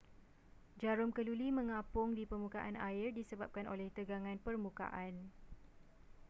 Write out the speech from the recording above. jarum keluli mengapung di permukaan air disebabkan oleh tegangan permukaan